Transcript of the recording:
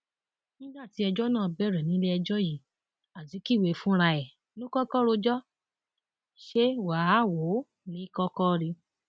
nígbà tí ẹjọ náà bẹrẹ nílẹẹjọ yìí azikiwe fúnra ẹ ló kọkọ rojọ ṣe wàáwòó ní í kọkọ rí i